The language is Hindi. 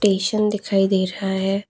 टेशन दिखाई दे रहा है।